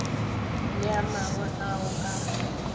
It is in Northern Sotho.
le a mangwe ao a